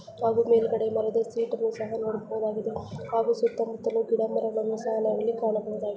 ನಾವು ಮೇಲ್ಗಡೆ ಮರದ ಶೀಟುನ್ನು ಸಹ ನೋಡಬಹುದಾಗಿದೆ ಹಾಗು ಸುತ್ತ ಮುತ್ತಲು ಗಿಡ ಮರಗಳನ್ನು ಸಹ ನಾವಿಲ್ಲಿ ಕಾಣಬಹುದಾಗಿದೆ.